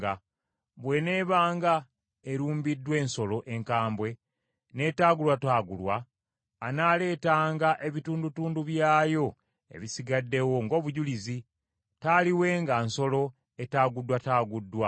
Bw’eneebanga erumbiddwa ensolo enkambwe n’etaagulwataagulwa, anaaleetanga ebitundutundu byayo ebisigaddewo ng’obujulizi; taaliwenga nsolo etaaguddwataaguddwa.